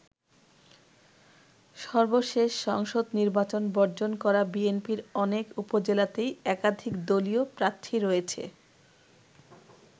সর্বশেষ সংসদ নির্বাচন বর্জন করা বিএনপির অনেক উপজেলাতেই একাধিক দলীয় প্রার্থী রয়েছে।